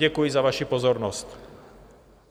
Děkuji za vaši pozornost.